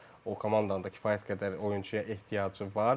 Amma o komandanın da kifayət qədər oyunçuya ehtiyacı var.